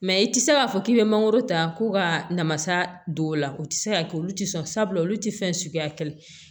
Mɛ i tɛ se k'a fɔ k'i bɛ mangoro ta ko ka namasa don o la o tɛ se ka kɛ olu tɛ sɔn sabula olu tɛ fɛn suguya kɛlɛ